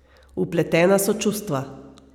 Vpletena so čustva.